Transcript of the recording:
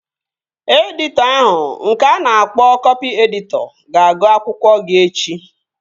Editọ ahụ nke a na-akpọ kọpị editọ ga-agụ akwụkwọ gị echi